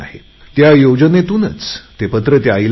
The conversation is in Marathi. त्या योजनेतूनच ते पत्र त्या आईला मिळाले